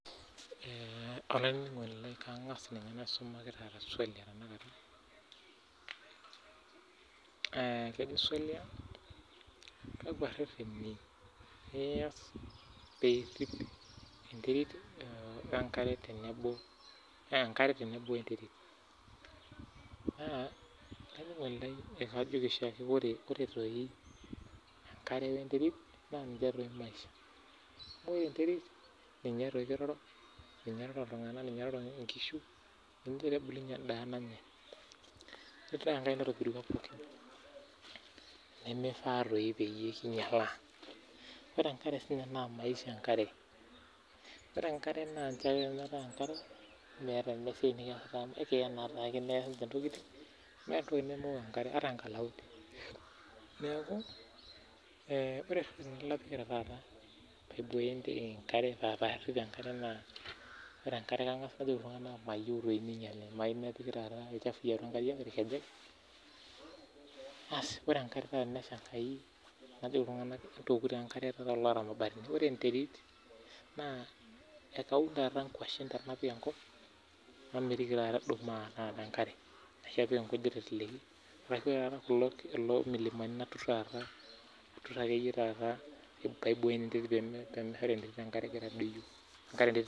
Ashe taa olaininingoni naa kaangas aisumaki swali naa kejo kakua rreteni ias pee irrip enkare tenebo enterit naa ore ekiyiolo pookin aajo ninche maisha amu ninche itegemeya pooki toki naa mifaa peekinyalaa ore enkare naa meeta eneesi metii enkare nemeeta entoki nemeyiou enkare nemeyiou sii ninyali , Ore enkare naa tenesha naa kajoki peewoku enkare lelo oota imabatini ore enterit naa kaunie inkuashen ashunkujit naa kebulu teleleki naa idim siininye atuturu enkare tiatua enterit